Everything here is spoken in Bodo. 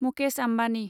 मुकेश आम्बानि